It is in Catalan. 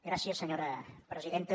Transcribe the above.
gràcies senyora presidenta